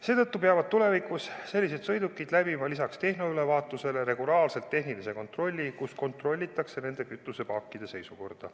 Seetõttu peavad tulevikus sellised sõidukid läbima lisaks tehnoülevaatusele regulaarselt ka tehnilise kontrolli, kus kontrollitakse nende kütusepaakide seisukorda.